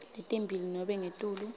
letimbili nobe ngetulu